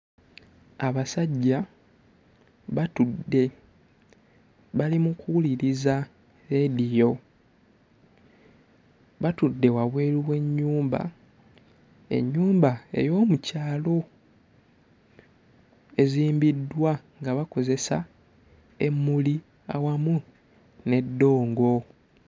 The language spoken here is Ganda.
Abasajja batudde bali mu kuwuliriza leediyo batudde wabweru w'ennyumba ennyumba ey'omu kyalo ezimbiddwa nga bakozesa emmuli awamu n'eddongo.